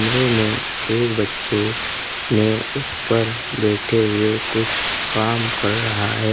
एक बच्चे ने ऊपर बैठे हुए कुछ काम कर रहा है।